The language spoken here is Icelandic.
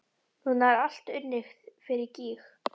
Núna er allt unnið fyrir gýg.